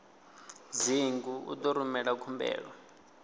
dzingu u ḓo rumela khumbelo